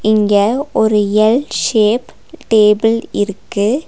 இங்க ஒரு L shape table இருக்கு.